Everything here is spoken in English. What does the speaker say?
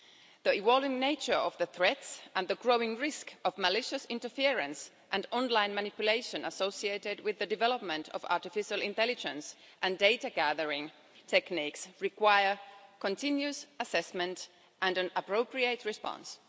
The evolving nature of the threats and the growing risk of malicious interference and online manipulation associated with the development of artificial intelligence and data gathering techniques require continuous assessment and an appropriate response.